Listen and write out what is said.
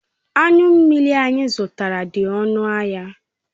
Anyu mmiri anyi zutara di onu ahia